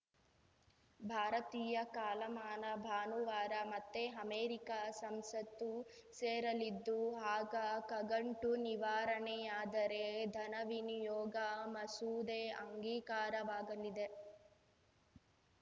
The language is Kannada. ಭಾರತೀಯ ಕಾಲಮಾನ ಭಾನುವಾರ ಮತ್ತೆ ಅಮೆರಿಕ ಸಂಸತ್ತು ಸೇರಲಿದ್ದು ಆಗ ಕಗಂಟು ನಿವಾರಣೆಯಾದರೆ ಧನವಿನಿಯೋಗ ಮಸೂದೆ ಅಂಗೀಕಾರವಾಗಲಿದೆ